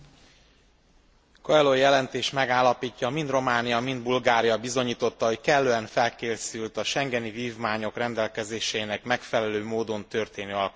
A Coelho jelentés megállapítja mind Románia, mind Bulgária bizonyította, hogy kellően felkészült a schengeni vívmányok rendelkezéseinek megfelelő módon történő alkalmazására.